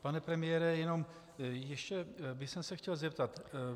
Pane premiére, jenom ještě bych se chtěl zeptat.